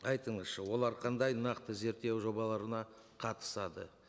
айтыңызшы олар қандай нақты зерттеу жобаларына қатысады